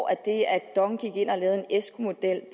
at det at dong gik ind og lavede en esco model